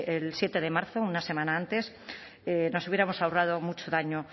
el siete de marzo una semana antes nos hubiéramos ahorrado mucho daño